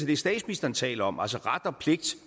det statsministeren taler om altså ret og pligt